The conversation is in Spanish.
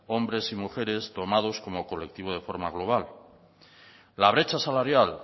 hombres y mujeres tomados como colectivo de forma global la brecha salarial